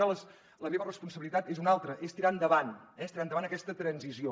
ara la meva responsabilitat és una altra és tirar endavant és tirar endavant aquesta transició